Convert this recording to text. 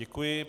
Děkuji.